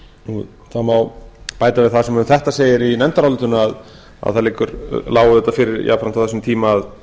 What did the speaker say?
má bæta við það sem um þetta segir í nefndarálitinu að það lá auðvitað fyrir jafnframt á þessum tíma að